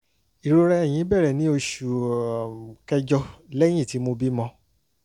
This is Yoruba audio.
ìrora ẹ̀yìn bẹ̀rẹ̀ ní oṣù um kẹjọ lẹ́yìn tí mo bímọ